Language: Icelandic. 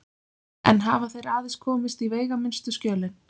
Enn hafa þeir aðeins komist í veigaminnstu skjölin.